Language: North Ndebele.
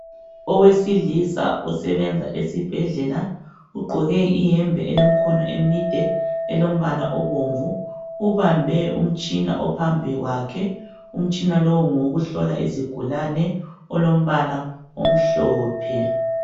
Owesilisa osebenza esibhedlela ugqoke ihembe elemkhono imide elombala abomvu. Ubambe umtshina ophambi kwake. Umtshina lo ngoyokuhlola izigulane olombala amhlophe .